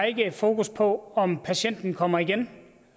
ikke har fokus på om patienten kommer igen